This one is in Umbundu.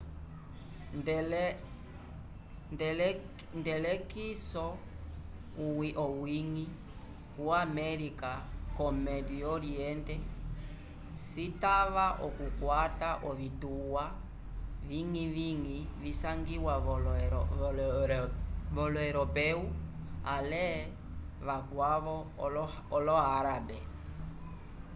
nd'elekiso owiñgi wo américa ko médio oriente citava okukwata ovituwa viñgiviñgi visangiwa volo europeu ale vakwavo olo-árabe